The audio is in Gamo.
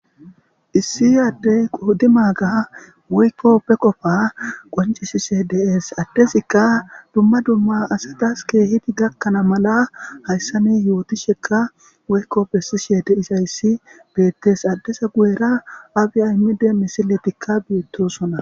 Issi ade qodi maga woyikko ba qopa qoncisishe deesi adezika dumma dumma asati kehippe gakkana mala hayisa nesi yotishekka woyikko beesishe deizayisi beteesi adeza guyera abi amede misileyikka betosona